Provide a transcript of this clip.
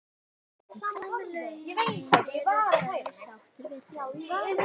En hvað með launin, eru þeir sáttir við þau?